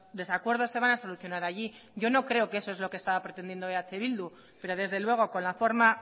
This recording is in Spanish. desacuerdos se van a solucionar allí yo no creo que eso es lo que estaba pretendiendo eh bildu pero desde luego con la forma